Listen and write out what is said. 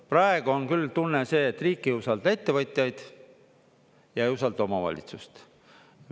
Praegu on küll tunne see, et riik ei usalda ettevõtjaid ja ei usalda omavalitsusi.